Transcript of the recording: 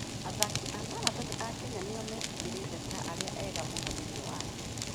Athaki a marathoni a Kenya nĩo metĩkĩrĩkĩte ta arĩa ega mũno thĩinĩ wa thĩ.